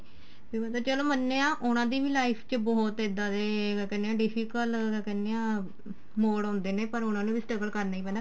ਵੀ ਮਤਲਬ ਚਲੋ ਮੰਨਿਆ ਉਹਨਾ ਦੀ ਵੀ life ਚ ਬਹੁਤ ਇੱਦਾਂ ਦੇ ਕਿਆ ਕਹਿਨੇ ਆ difficult ਕਿਆ ਕਹਿਨੇ ਆ ਮੋੜ ਆਉਂਦੇ ਨੇ ਪਰ ਉਹਨਾ ਨੂੰ ਵੀ struggle ਕਰਨਾ ਈ ਪੈਣਾ